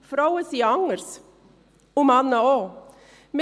Frauen sind anders, und Männer auch.